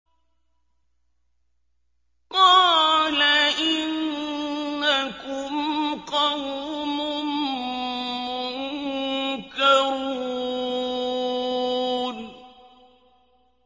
قَالَ إِنَّكُمْ قَوْمٌ مُّنكَرُونَ